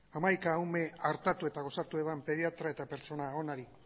hamaika ume tratatu eta osatu pediatra eta pertsona onari